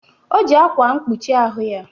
O ji akwa mkpuchi ahụ ya